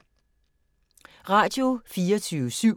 Radio24syv